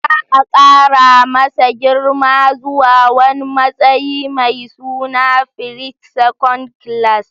Za a kara masa girma zuwa wani matsayi mai suna privte second class.